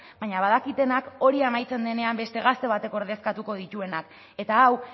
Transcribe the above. baina badakitenak hori amaitzen denean beste gazte batek ordezkatuko dituenak eta hau